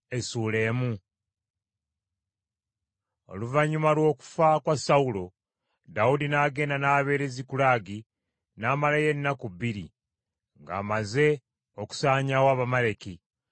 Oluvannyuma lw’okufa kwa Sawulo, Dawudi n’agenda n’abeera e Zikulagi n’amalayo ennaku bbiri, ng’amaze okusaanyaawo Abamaleki.